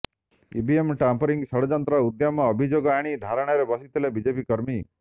EVM tampering ଷଡ଼ଯନ୍ତ୍ର ଉଦ୍ୟମ ଅଭିଯୋଗ ଆଣି ଧାରଣାରେ ବସିଥିଲେ ବିଜେପି କର୍ମୀ